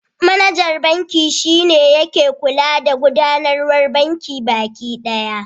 Manajan banki shi ne yake kula da gudanarwar bankin baki ɗaya.